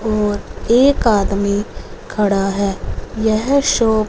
और एक आदमी खड़ा है यह शॉप --